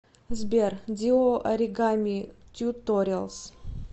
сбер диу оригами тьюториалз